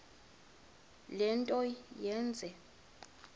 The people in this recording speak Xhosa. le nto yenze